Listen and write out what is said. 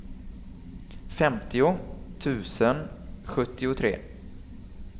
femtio tusen sjuttiotre